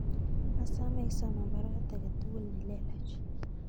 Asome isoman baruet age tugul nelelach